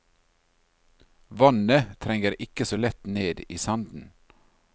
Vannet trenger ikke så lett ned i sanden.